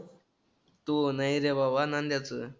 तुह नाही रे बाबा. नंद्याचं.